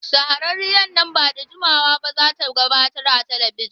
Shahararriyar nan ba da jimawa ba za ta gabatar a talabijin.